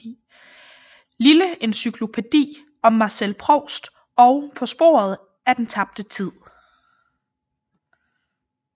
Lille encyklopædi om Marcel Proust og På sporet af den tabte tid